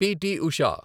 PT. Usha